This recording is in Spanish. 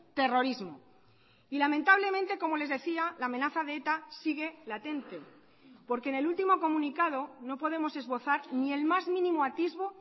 terrorismo y lamentablemente como les decía la amenaza de eta sigue latente porque en el último comunicado no podemos esbozar ni el más mínimo atisbo